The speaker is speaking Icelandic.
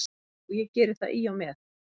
Jú, ég geri það í og með.